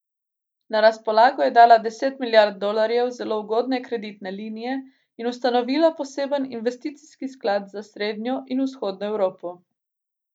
Na razpolago je dala deset milijard dolarjev zelo ugodne kreditne linije in ustanovila poseben investicijski sklad za srednjo in vzhodno Evropo.